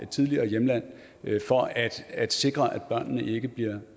tidligere hjemland for at at sikre at børnene ikke bliver